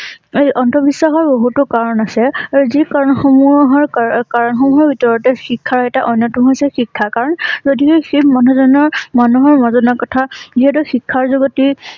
অন্ধ বিশ্বাসৰ বহুতো কাৰণ আছে যি কাৰণ সমূহৰ কাৰকাৰণসমূহৰ ভিতৰতে শিক্ষাৰ এটা অন্যতম হৈছে শিক্ষা কাৰণ সেই মানুহ জনৰ মানুহৰ মাজত কথা যিহেতু শিক্ষাৰ যুৱতী